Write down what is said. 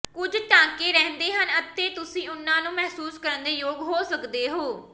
ਕੁਝ ਟਾਂਕੇ ਰਹਿੰਦੇ ਹਨ ਅਤੇ ਤੁਸੀਂ ਉਨ੍ਹਾਂ ਨੂੰ ਮਹਿਸੂਸ ਕਰਨ ਦੇ ਯੋਗ ਹੋ ਸਕਦੇ ਹੋ